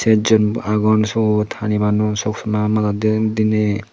sejjon agon syot hani banon soksoma madatdey dinei.